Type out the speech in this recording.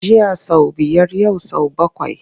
Jiya sau biyar yau sau bakwai.